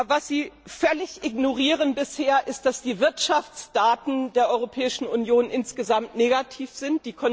Was Sie bisher völlig ignorieren, ist, dass die Wirtschaftsdaten der Europäischen Union insgesamt negativ sind.